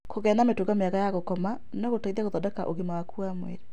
Kũgĩa na mĩtugo mĩega ya gũkoma no gũteithie gũthodeka afia yaku.